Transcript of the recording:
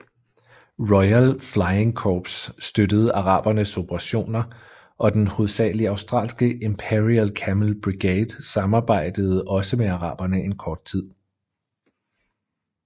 Royal Flying Corps støttede arabernes operationer og den hovedsagelig australske Imperial Camel Brigade samarbejdede også med araberne en kort tid